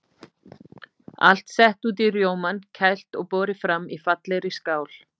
Allt sett út í rjómann, kælt og borið fram í fallegri skál.